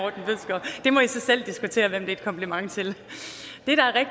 i må så selv diskutere hvem det er et kompliment til